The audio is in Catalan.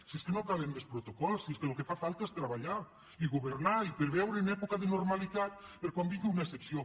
si és que no calen més protocols si és que el que fa falta és treballar i governar i preveure en època de normalitat per a quan vingui una excepció